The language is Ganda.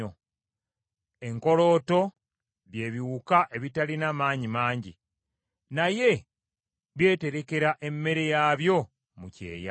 Enkolooto bye biwuka ebitalina maanyi mangi, naye byeterekera emmere yaabyo mu kyeya;